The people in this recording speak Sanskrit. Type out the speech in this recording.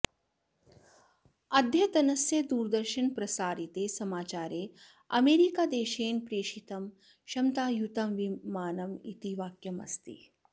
अद्यतनस्य दूरदर्शनप्रसारिते समाचारे अमेरिकादेशेन प्रेषितं क्षमतायुतं विमानम् इति वाक्यम् अस्ति